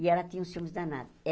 E ela tinha um ciúmes danado.